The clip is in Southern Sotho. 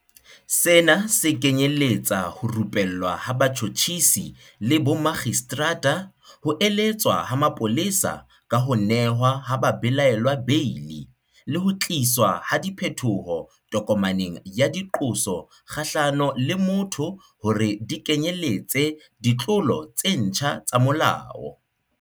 Sena se kenyeletsa ho rupellwa ha batjhotjhisi le bomakgistrata, ho eletswa ha mapolesa ka ho nehwa ha babelaellwa beili, le ho tliswa ha diphetoho tokomaneng ya diqoso kgahlano le motho hore di kenyeletse ditlolo tse ntjha tsa molao.